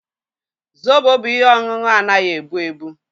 Zobo bụ ihe ọṅụṅụ anaghị ebu ebu